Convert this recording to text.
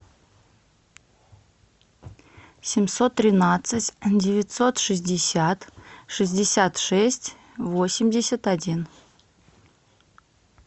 семьсот тринадцать девятьсот шестьдесят шестьдесят шесть восемьдесят один